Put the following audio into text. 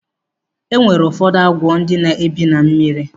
E nwere ụfọdụ agwọ ndị na-ebi na mmiri.